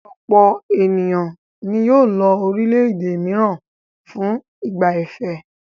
Ọ̀pọ̀ ènìyàn ni yóò lọ àwọn orílẹ̀-èdè mìíràn fún ìgbà fẹ́.